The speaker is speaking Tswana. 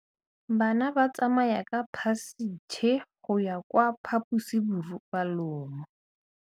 Bana ba tsamaya ka phašitshe go ya kwa phaposiborobalong.